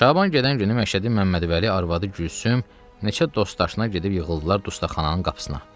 Şaban gedən günü Məşədi Məmmədvəli, arvadı Gülsüm, neçə dost-aşna gedib yığıldılar dustaqxananın qapısına.